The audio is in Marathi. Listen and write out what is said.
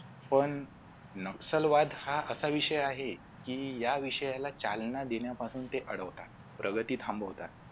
पण नक्षलवाद हा असा विषय आहे की या विषयाला चालना देण्यापासून ते अडवतात प्रगती थांबवतात.